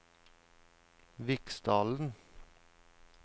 Viksdalen